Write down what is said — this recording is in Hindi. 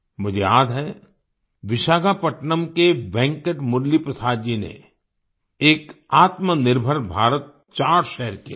मुझे याद है विशाखापट्नम के वेंकट मुरली प्रसाद जी ने एक आत्मनिर्भर भारत चार्ट शेयर किया था